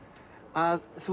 að þú